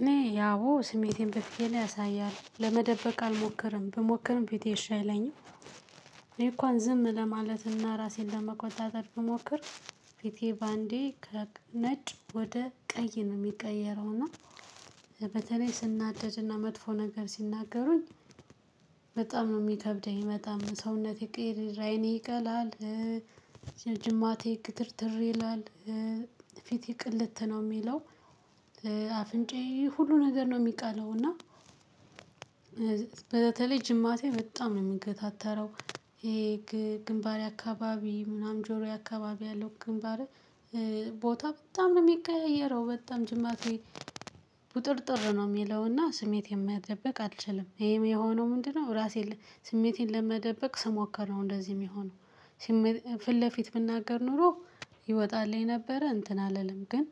እኔ አዎ ስሜቴን በፊቴ ነው አሳያለሁ ለመደበቅ አልሞከርም ብሞክርም ፊቴ እሺ አይለኝም እኔ እንኳን ዝም ለማለትና ራሴን ለመቆጣጠር ብሞክር። ፊቴ በአንዴ ከነጭ ወደ ቀይ ነው የሚቀየረው እና። በተለይ ስናደድና መጥፎ ነገር ሲናገሩኝ። በጣም ነው የሚከብደኝ በጣም ሰውነቴ ቅይርይር አይኔ ይቀላል። ጅማቴ ግትርትር ይላል። ፊቴ ቅልት ነው የሚለው። አፍንጫዬ ሁሉ ነገር ነው የሚቀላው እና። በተለይ ጅማቴ በጣም ነው የሚገታተረው። ይሄ ግንባሬ አካባቢ ምናምን ጆሮ አካባቢ ያለው ግንባሬ። ቦታ በጣም ነው የሚቀያየረው በጣም ጅማቴ። ቁጥርጥር ነው የሚለውና ስሜቴን መደበቅ አልችልም። ይሄም የሆነው ምንድነው? ራሴን ስሜቴን ለመደበቅ ስሞከር ነው እንደዚህ የሚሆነው። ስሜቴ ፊት ለፊት ብናገር ኖሮ ይወጣልኝ ነበረ እንትን አልልም ግን።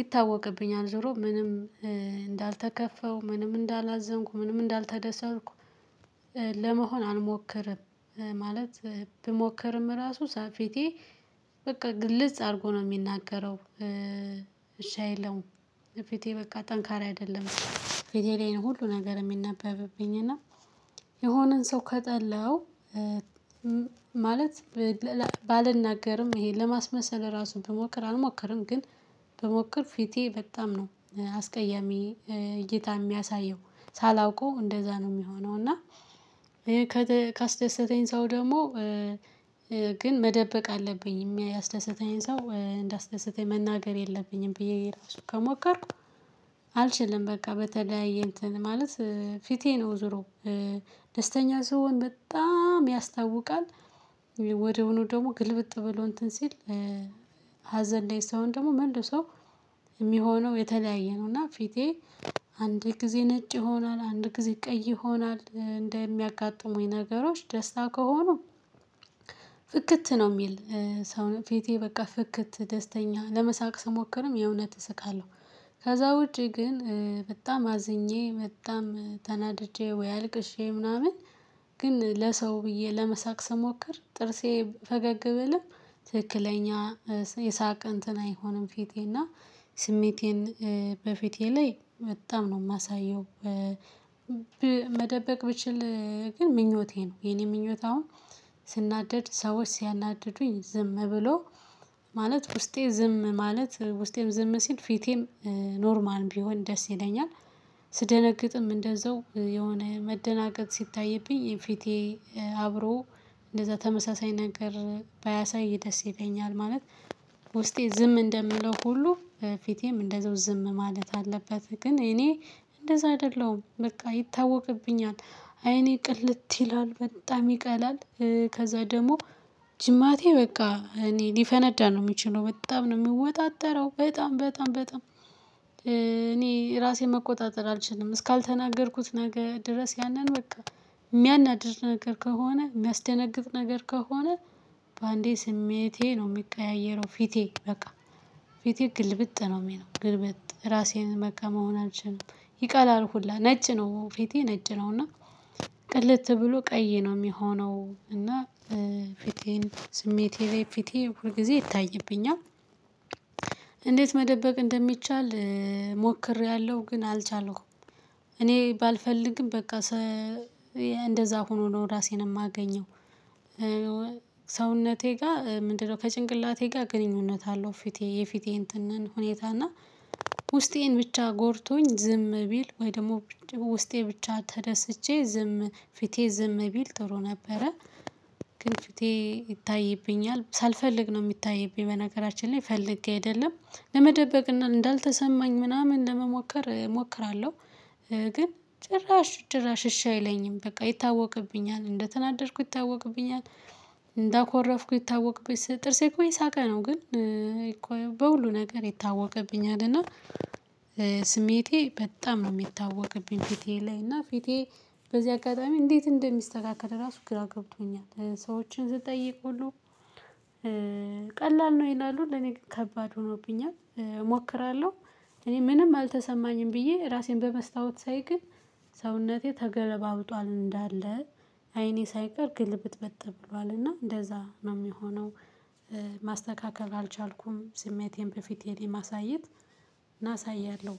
ይታወቅብኛል ዞሮ ምንም እንዳልተከፋው ምንም እንዳላዘንኩ ምንም እንዳልተደሰትኩ። ለመሆን አልሞክርም። ማለት ብሞክርም ራሱ ሳ ፊቴ። በቃ ግልጽ አድርጎ ነው የሚናገረው እሺ አይለውም። ፊቴ በቃ ጠንካራ አይደለም። ፊቴ ላይ ሁሉ ነገር የሚነበብብኝ እና። የሆነን ሰው ከጠላው። ማለት ብ ባልናገርም ይሄ ለማስመሰል ራሱ ብሞክር አልሞክርም ግን። ብሞከር ፊቴ በጣም ነው አስቀያሚ እይታ የሚያሳየው። ሳላውቀው እንደዛ ነው የሚሆነው እና። ካስደሰተኝ ሰው ደግሞ ግን መደበቅ አለብኝ ያስደሰተኝ ሰው እንዳስደሰተኝ መናገር የለብኝም ብዬ ራሱ ከሞከርኩ። አልችልም። በቃ በተለያየ እንትን ማለት ፊቴ ነው ዞሮ ደስተኛ ስሆን በጣም ያስታውቃል። ወድያውኑ ደግሞ ግልብጥ ብሎ እንትን ሲል። ሀዘን ላይ ስሆን ደግሞ መልሶ የሚሆነው የተለያየ ነው። እና ፊቴ አንድ ጊዜ ነጭ ይሆናል አንድ ጊዜ ቀይ ይሆናል እንደሚያጋጥሙኝ ነገሮች ደስታ ከሆኑ። ፍክት ነው የሚል ሰው ፊቴ በቃ ፍክት ደስተኛ ለመሳቅ ስሞክርም የእውነት እስቃለሁ። ከዛ ውጪ ግን በጣም አዝኜ በጣም ተናድጄ ወይ አልቅሼ ምናምን። ግን ለሰው ብዬ ለመሳቅ ስሞክር ጥርሴ ፈገግ ብልም ትክክለኛ የሳቅ እንትን አይሆንም። ፊቴና ስሜቴን በፊቴ ላይ በጣም ነው የማሳየው። መደበቅ ብችል ግን ምኞቴ ነው የኔ ምኞት አሁን። ስናደድ ሰዎች ሲያናድዱኝ ዝም ብሎ ማለት ውስጤ ዝም ማለት ውስጤም ዝም ሲል ፊቴም ኖርማል ቢሆን ደስ ይለኛል። ስደነግጥም እንደዛው የሆነ መደናገጥ ሲታይብኝ ፊቴ አብሮ እንደዛ ተመሳሳይ ነገር ባያሳይ ደስ ይለኛል ማለት። ውስጤ ዝም እንደምለው ሁሉ ፊቴም እንደዛው ዝም ማለት አለበት። ግን እኔ እንደዛ አይደለሁም በቃ ይታወቅብኛል። አይኔ ቅልት ይላል በጣም ይቀላል። ከዛ ደግሞ ጅማቴ በቃ እኔ ሊፈነዳ ነው የሚችለው በጣም ነው የወጣጠረው በጣም በጣም በጣም። እኔ ራሴን መቆጣጠር አልችልም እስካልተናገርኩት ነገ ድረስ ያንን በቃ። የሚያናድድ ነገር ከሆነ የሚያስደነግጥ ነገር ከሆነ። በአንዴ ስሜቴ ነው የሚቀያየረው ፊቴ በቃ። ፊቴ ግልብጥ ነው የሚለው ግልብጥ ራሴን በቃ መሆን አልችልም። ይቀላል ሁላ ነጭ ነው ፊቴ ነጭ ነው እና። ቅልት ብሎ ቀይ ነው የሚሆነው እና። ፊቴን ስሜቴ ላይ ፊቴ ሁል ጊዜ ይታይብኛል። እንዴት? መደበቅ እንደሚቻል ሞክሬያለሁ ግን አልቻልኩም። እኔ ባልፈልግም በቃ ሰ እንደዛ ሆኖ ነው ራሴን የማገኘው። ሰውነቴ ጋር ምንድነው? ከጭንቅላቴ ጋር ግንኙነት አለው ፊቴ የፊቴ እንትንን ሁኔታ እና ውስጤን ብቻ ጎድቶኝ ዝም ቢል ወይ ደግሞ ውስጤ ብቻ ተደስቼ ዝም ፊቴ ዝም ቢል ጥሩ ነበረ። ግን ፊቴ ይታይብኛል ሳልፈልግ ነው የሚታይብኝ በነገራችን ላይ ፈልጌ አይደለም። ለመደበቅና እንዳልተሰማኝ ምናምን ለመሞከር እሞክራለሁ። ግን ጭራሽ ጭራሽ እሺ አይለኝም በቃ ይታወቅብኛል እንደተናደድኩ ይታወቅብኛል። እንደኮረፍኩ ይታወቅብኛል ጥርሴ እኮ እየሳቀ ነው ግን። በሁሉ ነገር ይታወቀብኛል እና። ስሜቴ በጣም ነው የሚታወቅብኝ ፊቴ ላይ እና ፊቴ። በዚህ አጋጣሚ እንዴት እንደሚስተካከል ራሱ ግራ ገብቶኛል ሰዎችን ስጠይቅ ሁሉ። ቀላል ነው ይላሉ ለኔ ግን ከባድ ሆኖብኛል። እሞክራለሁ። እኔ ምንም አልተሰማኝም ብዬ ራሴን በመስታወት ሳይ ግን። ሰውነቴ ተገለባብጧል እንዳለ አይኔ ሳይቀር ግልብጥበጥ ብሏል እና እንደዛ ነው የሚሆነው። ማስተካከል አልቻልኩም ስሜቴን በፊቴ ላይ ማሳየት። እና አሳያለሁ።